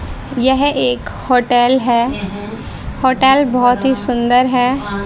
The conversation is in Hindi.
यह एक होटल है होटल बहुत ही सुंदर है।